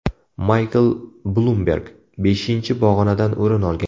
Maykl Blumberg beshinchi pog‘onadan o‘rin olgan.